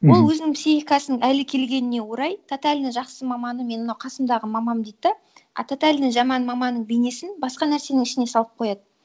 ол өзінің психикасының әлі келгеніне орай тотальный жақсы маманы менің мынау қасымдағы мамам дейді да а тотальный жаман маманың бейнесін басқа нәрсенің ішіне салып қояды